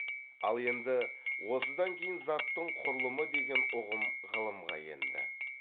ал енді осыдан кейін заттың құрылымы деген ұғым ғылымға енді